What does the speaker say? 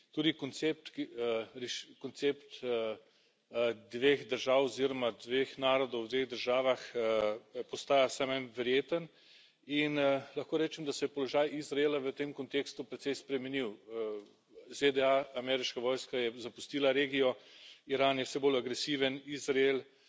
Tudi koncept dveh držav oziroma dveh narodov v dveh državah postaja vse manj verjeten in lahko rečem, da se je položaj Izraela v tem kontekstu precej spremenil ZDA, ameriška vojska je zapustila regijo, Iran je vse bolj agresiven, Izrael